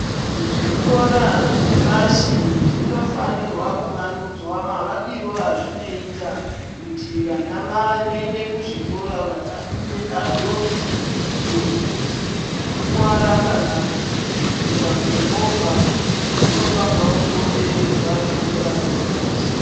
Zvikora zvepashi zvinofanirwa kuvandudzwa mavakiro azvinoita kuti vana vanoende kuzvikora vasapinde panjodzi dzekukuvara kana kutsikwa ngemovha. Dzinofanirwa kukomberedzwa zvikora zvepashi.